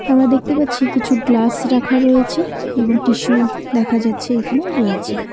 আমরা দেখতে পাচ্ছি কিছু গ্লাস রাখা রয়েছে এবং টিস্যু দেখা যাচ্ছে এখানে রয়েছে।